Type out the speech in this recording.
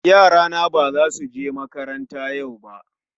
Yarana ba za su je makaranta yau ba